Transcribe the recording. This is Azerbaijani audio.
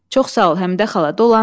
Çox sağ ol, Həmidə xala, dolanırıq.